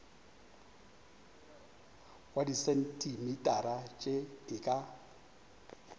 wa disentimetara tše e ka